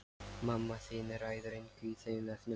Mamma þín ræður engu í þeim efnum.